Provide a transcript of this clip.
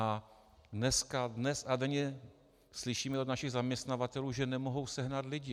A dnes a denně slyšíme od našich zaměstnavatelů, že nemohou sehnat lidi.